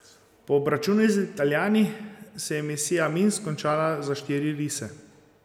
Po obračunu z Italijani se je misija Minsk končala za štiri rise.